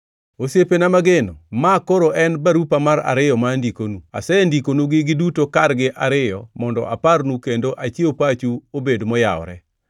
Osiepena mageno, maa koro en barupa mar ariyo ma andikonu. Asendikonugi giduto kargi ariyo mondo aparnu kendo achiew pachu obed moyawore.